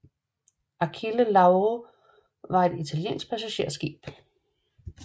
Achille Lauro var et italiensk passagerskib